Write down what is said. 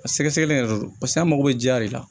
A sɛgɛsɛgɛli yɛrɛ do paseke an mago bɛ jiya de la